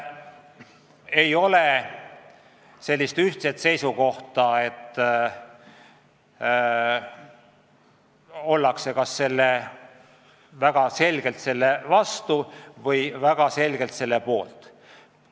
Ei ole ühtset seisukohta, et ollakse kas väga selgelt selle vastu või väga selgelt selle poolt.